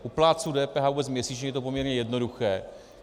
U plátců DPH vůbec měsíčně je to poměrně jednoduché.